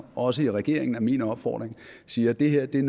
også i regeringen er min opfordring siger at det her er